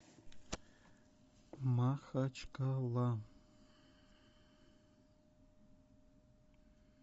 махачкала